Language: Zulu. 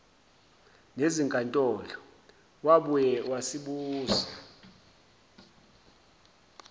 nezinkantolo wabuye wasibuza